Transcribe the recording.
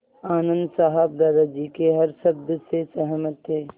आनन्द साहब दादाजी के हर शब्द से सहमत थे